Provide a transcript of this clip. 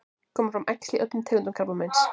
koma fram æxli í öllum tegundum krabbameins